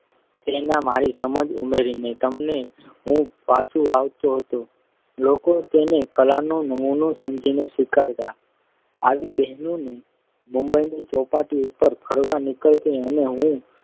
અને તેમાં મારી સમજ ઉમેરીને તેમને હું પાછું આપતો હતો. લોકો તેને કલાનો જ નમૂનો સમજીને સ્વીકારતા. આવી બહેનો જ્યારે મુંબઈની ચોપાટી ઉપર ફરવા નીકળતી અને હું